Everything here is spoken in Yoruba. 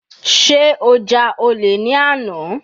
Sé ó ja olè ní àná.